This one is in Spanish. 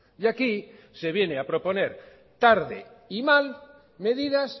y aquí se viene a proponer tarde y mal medidas